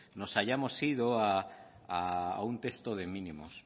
nos hayamos ido a un texto de mínimos